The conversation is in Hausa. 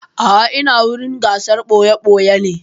A'a ina wurin gasar ɓoya-ɓoyan ne.